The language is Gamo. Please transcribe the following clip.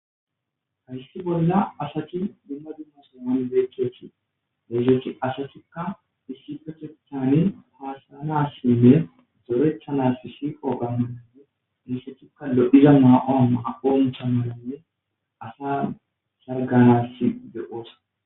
hayssi bolla asati dumma dumma soman beechkethi leesethi asatikka issipachethani haasanassinne dorethanas siiqo gammananne essethikka lo7iza maa7on aponcha mananne asa sarganass deqoosa